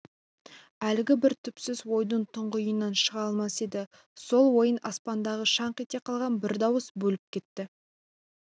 әлгі бір түпсіз ойдың тұңғиығынан шыға алмас еді сол ойын аспандағы шаңқ ете қалған бір дауыс бөліп кетті